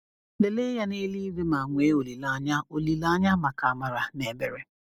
Lelee Ya n’Eluigwe ma nwee olileanya olileanya maka amara na ebere…